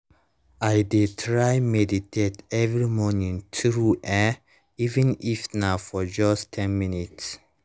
i deh try meditate every morning true eh even if na for just ten minutes